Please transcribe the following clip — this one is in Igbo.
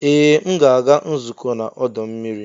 Ee! M ga-aga nzukọ n'ọdọ mmiri.